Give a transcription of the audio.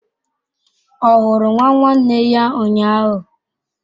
Ọ hụrụ nwa nwanne ya ụnyahụ?